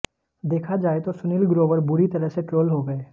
देखा जाए तो सुनील ग्रोवर बुरी तरह से ट्रोल हो गए